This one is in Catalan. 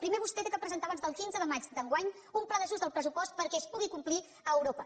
primer vostè ha de presentar abans del quinze de maig d’enguany un pla d’ajust del pressupost perquè es pugui complir a europa